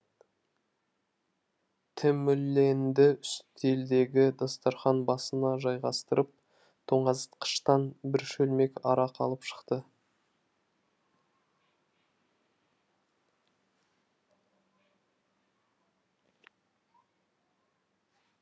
тэмүлэнді үстелдегі дастархан басына жайғастырып тоңазытқыштан бір шөлмек арақ алып шықты